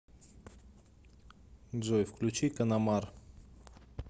джой включи канамар